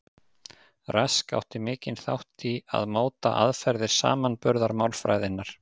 Rask átti mikinn þátt í að móta aðferðir samanburðarmálfræðinnar.